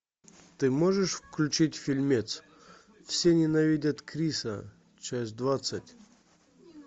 ты можешь включить фильмец все ненавидят криса часть двадцать